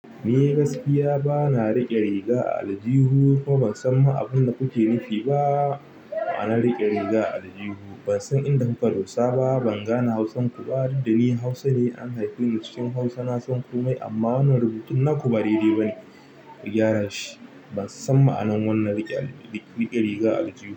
Ni gaskiya bana riƙe riga a aljihu kuma ban san ma abunda kuke nufi ba da ma'anan riƙe riga a aljihu. Ban san inda kuka dosa ba, ban gane Hausar ku ba. Duk da ni Hausa ne, an haife ni cikin Hausa. Na san komai, amma wannan rubutun naku ba dai dai bane. Ban san ma'anan riƙe riga a aljihu.